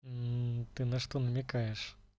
ты на что намекаешь